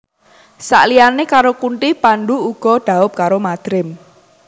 Saliyane karo Kunthi Pandhu uga dhaup karo Madrim